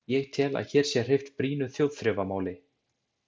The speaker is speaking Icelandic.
Ég tel, að hér sé hreyft brýnu þjóðþrifamáli.